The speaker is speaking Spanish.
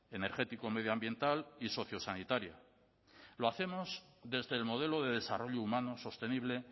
energético medioambiental y socio sanitaria lo hacemos desde el modelo de desarrollo humano sostenible